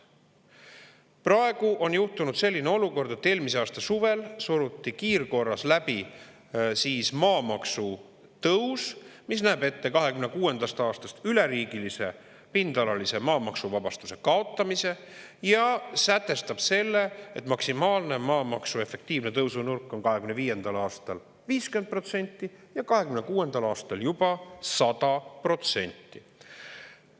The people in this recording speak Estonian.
Praegu on juhtunud selline olukord, et eelmise aasta suvel suruti kiirkorras läbi maamaksu tõus, mis näeb ette 2026. aastast üleriigilise pindalalise maamaksuvabastuse kaotamise ja sätestab selle, et maksimaalne maamaksu efektiivne tõusunurk on 2025. aastal 50% ja 2026. aastal juba 100%.